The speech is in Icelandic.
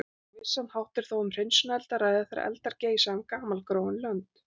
Á vissan hátt er þó um hreinsunareld að ræða, þegar eldar geisa um gamalgróin lönd.